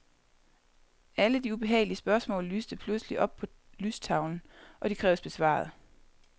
Alle de ubehagelige spørgsmål lyste pludselig op på lystavlen, og de kræves besvaret.